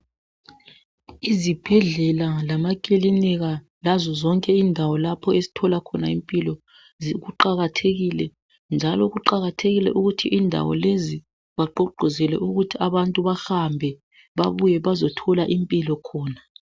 Izibhedlela lamakilinika lazo zonke indawo lapho esithola khona impilo kuqathekile njalo kuqakathekile ukuthi indawo lezi bagqugquzele ukuthi abantu bahambe babuye bazothola impilo khona .